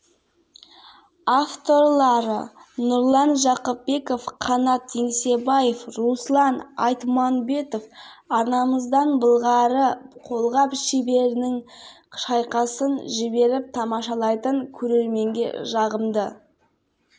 қарсыласы мексикалық фернандо варгас кеш арнасы арқылы төрткүл дүниеге таратылады ал елімізде бұл кәсіби бокс кешін